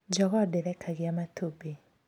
Njogoo ndĩrekagia matumbĩ